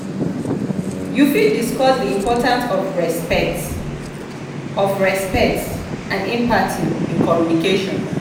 you fit discuss di importance of respect of respect and empathy in communication.